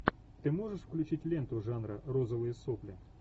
ты можешь включить ленту жанра розовые сопли